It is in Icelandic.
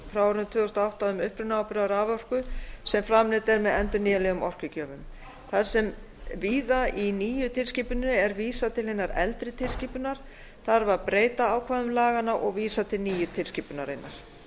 tvö þúsund og átta um upprunaábyrgð á raforku sem framleidd er með endurnýjanlegum orkugjöfum þar sem víða í nýju tilskipuninni er vísað tl hinnar eldri tilskipunar þarf að breyta ákvæðum laganna og vísa til nýju tilskipunarinnar